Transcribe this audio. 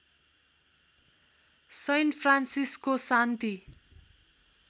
सैन फ्रान्सिसको शान्ति